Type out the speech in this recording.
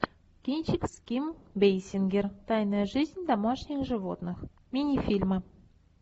кинчик с ким бейсингер тайная жизнь домашних животных мини фильмы